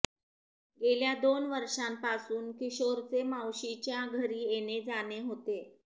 गेल्या दोन वर्षांपासून किशोरचे मावशीच्या घरी येणे जाणे होते